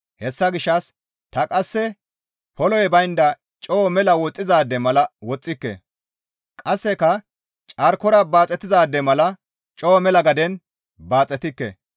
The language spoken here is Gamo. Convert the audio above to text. Hessa gishshas ta qasse poloy baynda coo mela woxxizaade mala woxxike; qasseka carkora baaxetizaade mala coo mela gaden baaxetikke.